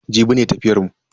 Jibi ne tafiyar mu.